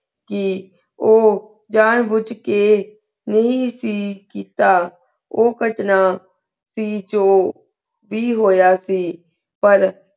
ਚੀ ਊ ਜਾਨ ਬੁਜ ਕੇ ਨਾਈ ਸੇ ਕਿੱਤਾ ਊ ਕਟਨਾ ਸੇ ਜੋ ਵੀ ਹੋਯਾ ਸੇ ਪਰ